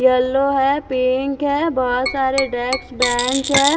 Yellow है pink है बहुत सारे डेक्स बेंच है।